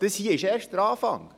Das hier ist erst der Anfang.